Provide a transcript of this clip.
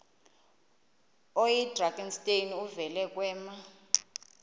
oyidrakenstein uvele kwema